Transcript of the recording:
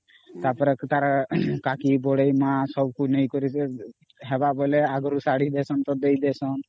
ତା ପରେ ତାର କାକିବଡେଇ ମା ସବୁକୁ ନେଇକରି ଦବୁ ହେବା ବୋଇଲେ ଆଗରୁ ଶାଢ଼ୀ ଦେଶାନ୍ତ ତା ଦେଇ ଦେଶନ୍ତ